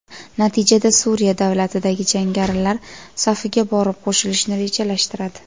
Natijada Suriya davlatidagi jangarilar safiga borib qo‘shilishni rejalashtiradi.